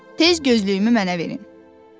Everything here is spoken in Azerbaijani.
Tez gözlüyümü mənə verin".